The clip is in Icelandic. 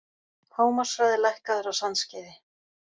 Hámarkshraði lækkaður á Sandskeiði